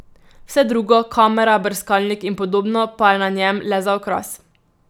Vse drugo, kamera, brskalnik in podobno, pa je na njem le za okras.